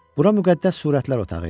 Bura müqəddəs surətlər otağı idi.